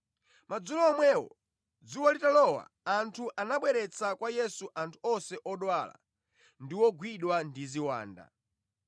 Madzulo omwewo dzuwa litalowa anthu anabweretsa kwa Yesu anthu onse odwala ndi ogwidwa ndi ziwanda.